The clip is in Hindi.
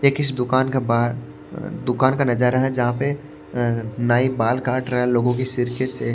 एक इस दुकान का बाहर अ अ दुकान का नजारा है जहां पे अ नाई बाल काट रहा है लोगों के सिरके से--